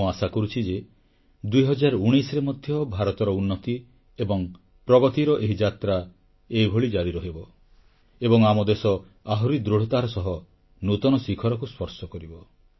ମୁଁ ଆଶା କରୁଛି ଯେ 2019ରେ ମଧ୍ୟ ଭାରତର ଉନ୍ନତି ଏବଂ ପ୍ରଗତିର ଏହି ଯାତ୍ରା ଏହିଭଳି ଜାରି ରହିବ ଏବଂ ଆମ ଦେଶ ଆହୁରି ଦୃଢ଼ତାର ସହ ନୂତନ ଶିଖରକୁ ସ୍ପର୍ଶ କରିବ